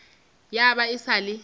ya ba e sa le